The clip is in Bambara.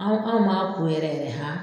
Anw anw m'an ko yɛrɛ yɛrɛ han